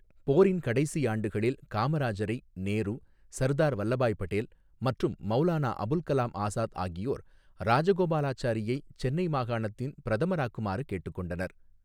போரின் கடைசி ஆண்டுகளில், காமராஜரை நேரு, சர்தார் வல்லபாய் படேல் மற்றும் மௌலானா அபுல் கலாம் ஆசாத் ஆகியோர் ராஜகோபாலாச்சாரியை சென்னை மாகாணத்தின் பிரதமராக்குமாறு கேட்டுக் கொண்டனர்.